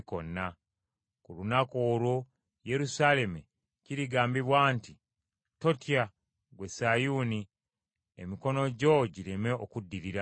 Ku lunaku olwo Yerusaalemi kirigambibwa nti, “Totya, ggwe Sayuuni; emikono gyo gireme okuddirira.